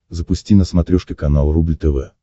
запусти на смотрешке канал рубль тв